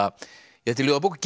þetta er ljóðabók